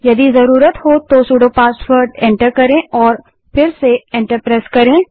यदि जरूरत हो तो सुडो पासवर्ड को एंटर करें और फिर से एंटर दबायें